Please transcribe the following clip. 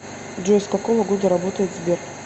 джой с какого года работает сбер